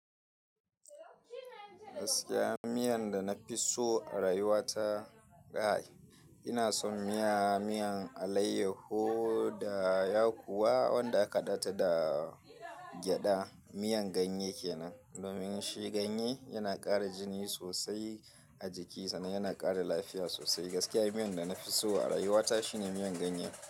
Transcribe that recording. Gaskiya miyan da na fi so a rayuwa ta guy, ina son miya, miyan alaiyahu da ya kuwa wanda aka data da gyada. Miya ganye kenan. Domin shi ganye yana kara jini sosai a jiki sannan yana kara lafiya sosai. Gaskiya miyan da na fi so a rayuwa ta shine miyan ganye.